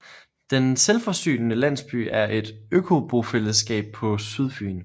Den Selvforsynende Landsby er et økobofællesskab på Sydfyn